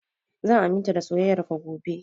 Zan aminta da soyayar ka gobe